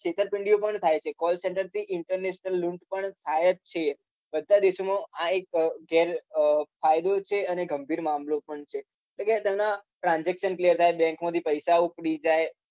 છેતરપીંડી પણ થાય છે call center થી international લુંટ પણ થાય જ છે બધા દેશો માં આ એક ઘેરફાયદો છે અને ગંભીર મામલો પણ છે એટલે કે તેના transaction clear થાય bank માંથી પૈસા ઉપડી જાય